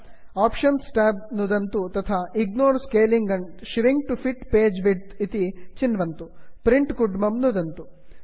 options Tab option tab नुदन्तु तथा ignore scaling and shrink to fit page width ignore scaling and shrink to fit page width इति चिन्वन्तु